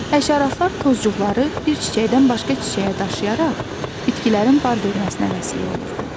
Həşəratlar tozcuqları bir çiçəkdən başqa çiçəyə daşıyaraq bitkilərin bar verməsinə vəsilə olur.